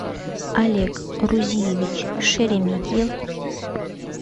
олег рузиевич шереметьев